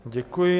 Děkuji.